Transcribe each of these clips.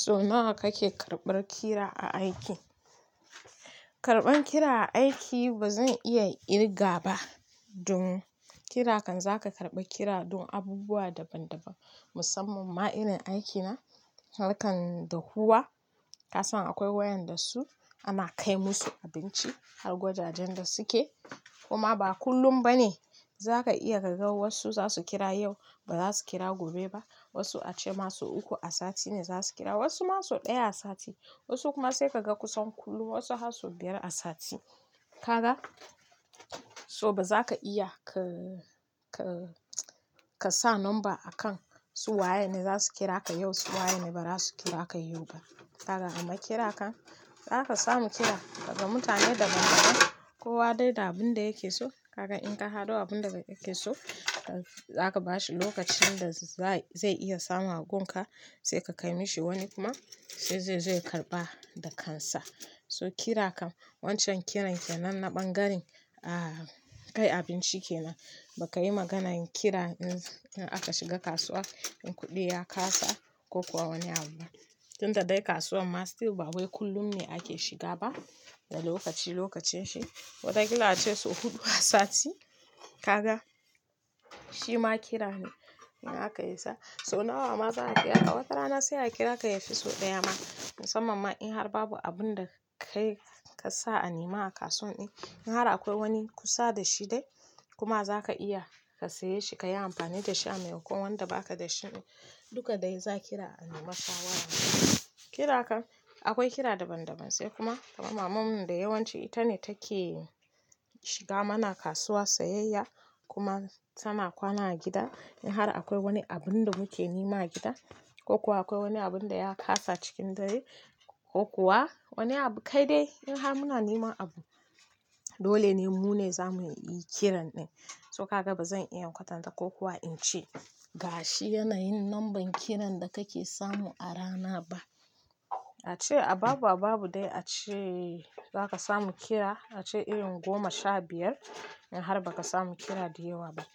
So nawa kake karɓar kira a aiki? Karban kira aiki ba zan iya kirga ba don kira kan zaka karɓi kira don abubuwa daban daban musamman ma irin aikina, harkan dahuwa kasan akwai wayanda su ana kai musu abinci har gwajajen da suke, kuma ba kullum bane za ka iya ka ga wasu zasu kira yau ba za su kira gobe ba, wasu ace masu uku a sati ne za su kira, wasu masu ɗaya a sati, wasu kuma sai kaga kusan kullum wasu har su biyar a sati. Ka ga? So ba za ka iya ka, ka ka sa number a kan su waye ne zasu kira ka yau su waye ne ba za su kira ka yau ba. Ka ga? Amma kira kan zaka samu kira daga mutane daban daban kowa dai da abin da yake so. Kaga in ka haɗu abun da yake so zaka bashi lokacin da za, zai iya samun agunka sai ka kai mashi wani kuma sai zai zo ya karɓa da kansa. So kira kam wancan kiran ke nan na ɓangaren, ah, kai abinci kenan. Ka ga? So ba za ka iya ka, ka ka sa lamba a kan su waye ne zasu kira ka yau su waye ne ba za su kira ka yau ba. Ka ga? Shi ma kira ne in aka isa so nawa ma za a kira ka wata rana sai a kira ka ya fi so ɗaya ma musamman ma in har babu abun da kayi ka sa a nema a kasuwan in har akwai wani kusa da shi dai kuma za ka iya ka saye shi ka yi amfani da shi a maimakon wanda ba ka da shi duka dai za a kira a nema ka shawarwa. Kira kan akwai kira daban daban sai kuma, kaman mamanmu da yawanci ita ne take shiga mana kasuwa sayayya kuma sama kwana a gida in har akwai wani abun da muke nema a gida ko kuwa akwai wani abun da ya kasa cikin dare ko kuwa wani abu kai dai in har muna neman abu dole ne mu ne za mu yi kiran din. So ka ga ba zan iya watanta ko kuwa in ce gashi yanayin lambar kiran da kake samu a rana ba. A ce a babu a babu dai ace za ka samu kira ace in goma sha biyar in har ba ka samu kira da yawa ba.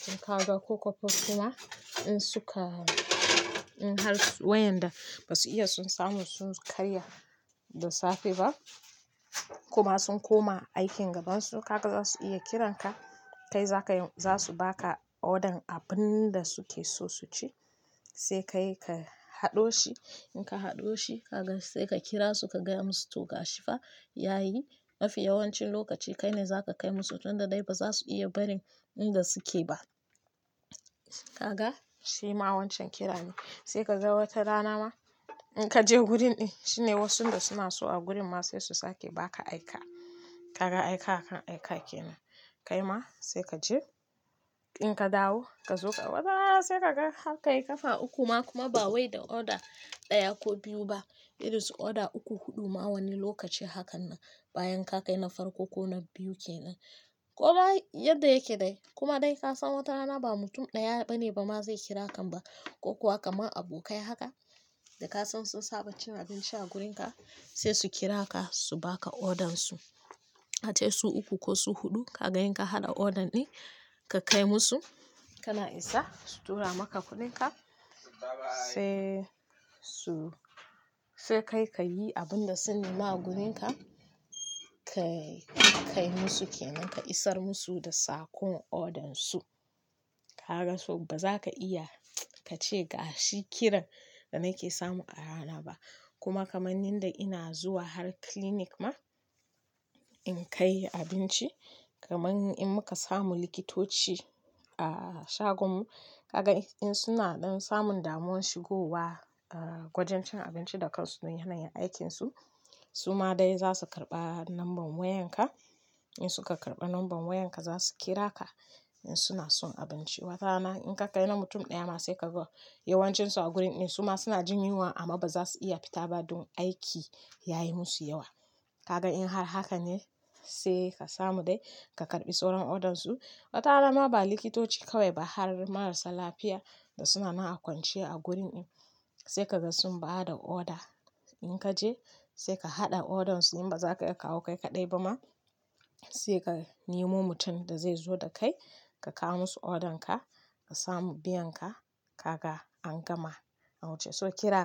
Tun ka ga ko kostoma kuma in suka, in har wayanda ba su iya sun samu sun karya da safe ba kuma sun koma aikin gabansu ka ga za su iya kiranka kai za ka yi, za su ba ka odan abun da suke so su ci sai kai ka haɗo shi in ka haɗo shi ka ga sai ka kira su ka gaya musu to gashi fa yayi. Mafiya yawancin lokaci kai ne za ka kai musu tunda dai ba za su iya barin inda suke ba. Ka ga? Shi ma wancen kira ne sai ka ga wata rana ma in ka je hurin din shine wasu da suna so a gurin ma sai su sake ba ka aika. Ka ga aika kan aika kenan. Kai ma sai ka je in ka dawo ka zo ka, wata rana sai kaga haka yi kafa uku ma kuma ba wai da oda daya ko biyu ba irin su oda uku huɗu ma wani lokaci hakan na bayan ka kai na farko ko na biyu kenan. Ko ma yadda yake dai kuma dai ka san wata rana ba mutum daya bane ba ma zai kira kan ba ko kuwa kamar abokai haka da ka san sun saba cin abinci a gurin ka sai su kira ka su baka odan su. Ace su uku ko su huɗu ka ga in ka haɗa odan din ka kai musu kana isa su tura maka kuɗinka sai su, sai kai ka yi abun da su nema a gurin ka, ka kai musu kenan, ka isar musu da sakon odan su. Ka ga so ba za ka iya ka ce gashi kiran da nake samu a rana ba kuma kamannin da ina zuwa har clinic ma in kai abinci kamannin in muka samu likitoci a shagomu ka ga in suna dan samun damuwar shigowa a gwajin cin abinci da kansu don yanayin aikinsu su ma dai za su karɓa lambar wayan ka in suka karɓa lambar wayan ka za su kira ka in suna son abinci. Wata rana in ka kai na mutum daya ma sai ka ga yawancin su a gurin in su ma suna jin yunwa amma ba za su iya fita ba don aiki yayi musu yawa. Ka ga in har hakan ne sai ka samu dai ka karɓi sauran odan su. Wata rana ma ba likitoci kawai ba har marasa lafiya da suna nan a kwanciya a gurin in sai ka ga sun ba da oda in ka je sai ka haɗa odan su in ba za ka iya kawo kai ka ɗai ba ma sai ka nemo mutum da zai zo da kai ka kawo musu odan ka ka samu biyan ka ka ga an gama. An wuce so kira.